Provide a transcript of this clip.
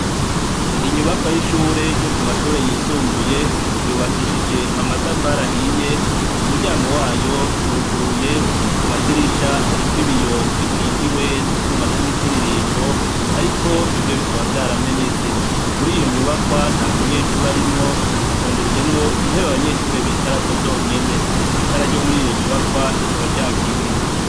Inyubakwa yishure yisumbuye yubakishijwe amatafari ahiye umuryango wayo uruguruye kumadirisha hariko ibiyo bikingiye nutwuma twimitirirmbo ariko bimwe bikaba vyaramenetse muriyo nyubakwa ntamunyeshure arimwo hatondetsemwo intebe zabanyeshure bonyene zonyene itara ryo muriyo nyubakwa zikaba zakije